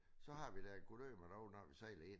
Så har vi da gudøme da ikke når vi sejler ind ad